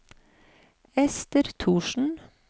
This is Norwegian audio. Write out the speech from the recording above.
Esther Thorsen